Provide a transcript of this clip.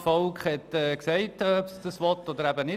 Das Volk hat gesagt, ob es das will oder nicht.